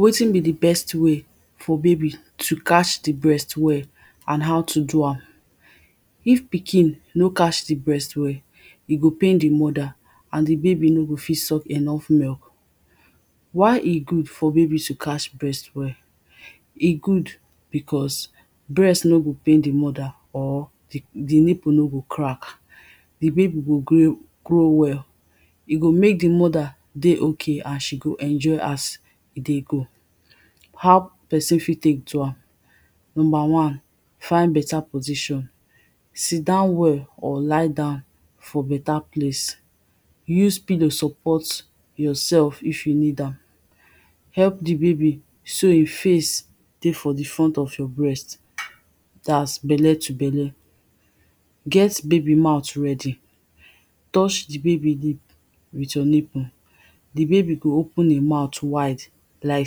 wetin be di best way for baby to catch di breast well and ow to do am? if pikin no catch di breast well e go pain di mother and di baby no go fit suck enough milk while e good for baby to catch breast well, e good because breast no go pain di mother, or di nipple no go crack, di baby go grow well e go mek di mother dey ok and she go enjoy as e dey go. how pesin fit tek do am? number one, find beta position, sit down well or lie down for bea plac, use pilow support ourself if you need am, help di baby so hin face dey front of your breast dat bele to belle. get baby mouth ready, touch di baby lip with your nipple di baby good open e mouth wide like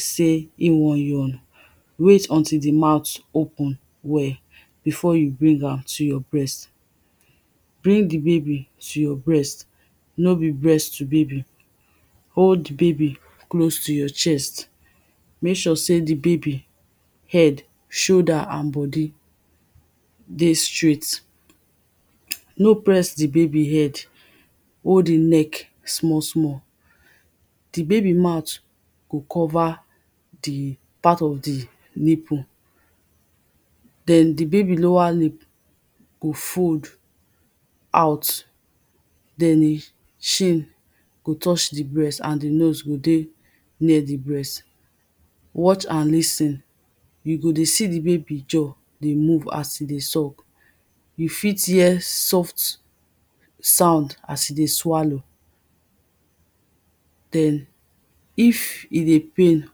sey e won yawn, wait until di mouth open well before you bring am to your breast. bring di baby to your breast, no be breast to baby, hold di baby close to your chest mek sure sey di baby head, shoulder and bodi dey straight. no press di baby head, hold e neck small small, di baby mouth go cover di oart of di nipple. den di baby lower lip go fold out den e chin go touch di breast and di nose go dey near di breast watch and lis ten you go dey see di baby jaw dey move as e dey suck. you fit hear soft sound as e dey swallow den if e dey pain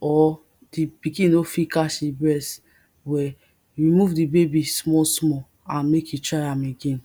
or di pikin no fit catch e breathwell, remove di baby small small and mek you try am again.